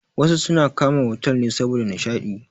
Wasu suna kama otal ne saboda nishaɗi.